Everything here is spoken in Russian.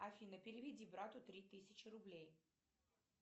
афина переведи брату три тысячи рублей